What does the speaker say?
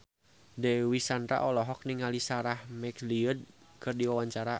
Dewi Sandra olohok ningali Sarah McLeod keur diwawancara